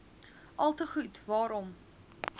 alte goed waarom